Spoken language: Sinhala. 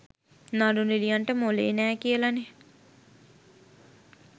නළු නිළියන්ට මොළේ නෑ කියලනේ.